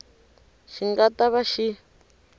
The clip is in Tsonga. xi nga ta va xi